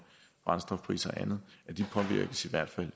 brændstofpriser og andet i hvert fald